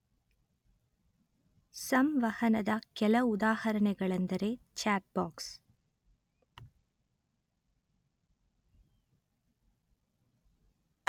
ಸಂವಹನದ ಕೆಲ ಉದಾಹರಣೆಗಳೆಂದರೆ ಚಾಟ್ ಬಾಕ್ಸ್